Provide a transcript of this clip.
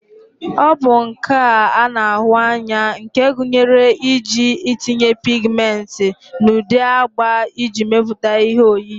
ọ bụ nka a na-ahụ anya nke gụnyere iji itinye pigmenti n'ụdị agba iji mepụta ihe oyiyi